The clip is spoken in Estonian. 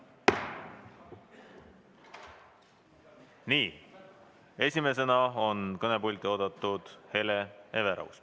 Nii, esimesena on kõnepulti oodatud Hele Everaus.